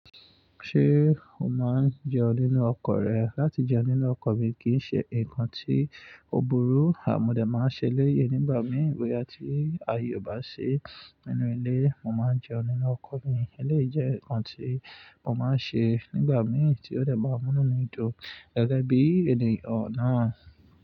Ṣé o máa ń jẹun nínú ọkọ̀ rẹ? Látijẹun nínú ọkọ̀ mi kì í ṣe nǹkan tí ó burú àmọ́ dẹ̀ máa ń ṣe léyè nígbà mìí. Ìgboyà tí ayọ̀ bá ṣí nínú ilé, mo máa ń jẹun nínú ọkọ̀ mi. Eléyìí jẹ́ ǹkan tí mo máa ń ṣe nígbà mìíràn tí ó dẹ̀ bá múnú mi dùn gẹ́gẹ́ bí ènìyàn náà.